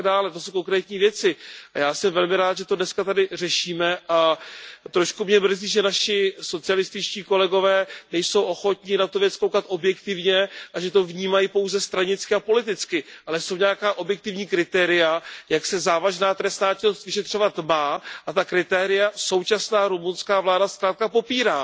To jsou konkrétní věci a já jsem velmi rád, že to tady dnes řešíme, a trošku mě mrzí, že naši socialističtí kolegové nejsou ochotni se na tu věc dívat objektivně a že to vnímají pouze stranicky a politicky. Ale jsou nějaká objektivní kritéria, jak se závažná trestná činnost vyšetřovat má, a ta kritéria současná rumunská vláda zkrátka popírá.